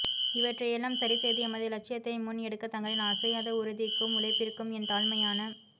இவற்றை எல்லாம் சரிசெய்து எமது இலட்சியத்தை முன் எடுக்க தங்களின் அசையாத உறுதிக்கும் உழைப்பிற்கும் என் தாழ்மையான